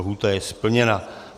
Lhůta je splněna.